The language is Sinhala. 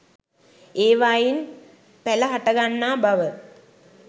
ඒවායින් පැල හටගන්නා බව